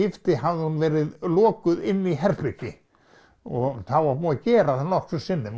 skipti hafði hún verið lokuð inni í herbergi og þá var búið að gera það nokkrum sinnum